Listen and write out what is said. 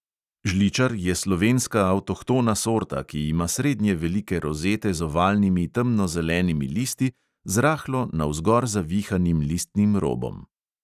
Žličar je slovenska avtohtona sorta, ki ima srednje velike rozete z ovalnimi temnozelenimi listi z rahlo navzgor zavihanim listnim robom.